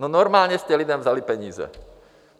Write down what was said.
No, normálně jste lidem vzali peníze.